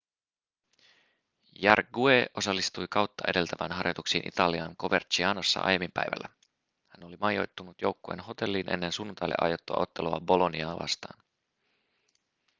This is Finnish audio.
jarque osallistui kautta edeltävään harjoituksiin italian covercianossa aiemmin päivällä hän oli majoittunut joukkueen hotelliin ennen sunnuntaille aiottua ottelua boloniaa vastaan